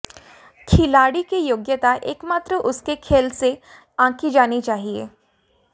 खिलाड़ी की योग्यता एकमात्र उसके खेल से आंकी जानी चाहिए